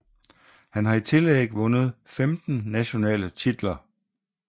Han har i tillæg vundet 15 nationale titler